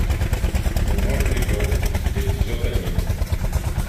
бумажный дом эпизод один